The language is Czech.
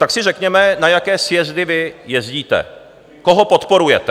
Tak si řekněme, na jaké sjezdy vy jezdíte, koho podporujete.